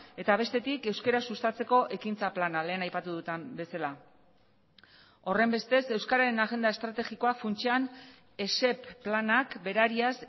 eta bestetik euskara sustatzeko ekintza plana lehen aipatu duten bezala horrenbestez euskararen agenda estrategikoa funtsean esep planak berariaz